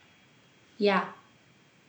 Ja.